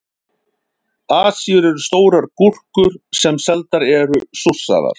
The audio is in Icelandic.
Asíur eru stórar gúrkur sem seldar eru súrsaðar.